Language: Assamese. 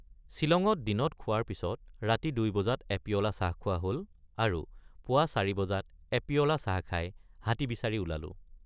ছিলঙত দিনত খোৱাৰ পিচত ৰাতি দুই বজাত এপিয়লা চাহ খোৱা হল আৰু পুৱা চাৰি বজাত এপিয়লা চাহ খাই হাতী বিচাৰি ওলালোঁ।